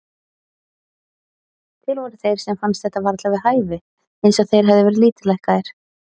Til voru þeir sem fannst þetta varla við hæfi, eins og þeir hefðu verið lítillækkaðir.